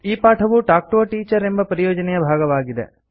ಈ ಪಾಠವು talk to a teacher ಎಂಬ ಪರಿಯೋಜನೆಯ ಭಾಗವಾಗಿದೆ